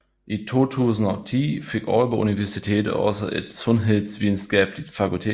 I 2010 fik Aalborg Universitet også et sundhedsvidenskabeligt fakultet